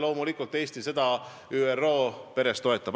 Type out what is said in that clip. Loomulikult Eesti seda ÜRO peres toetab.